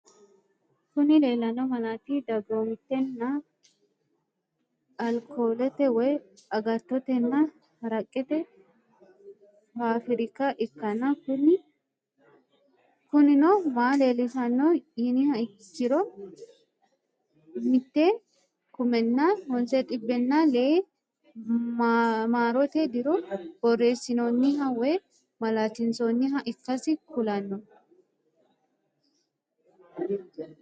Kuni lellanno malaati dagomittenniha alkollete woy agattote nna haraqete fafrikiha ikanna kunino ma leellishshanno yiniha ikkiro 1906 marote diro borresinnonniha woy malatinsonniha ikkasi kulanno.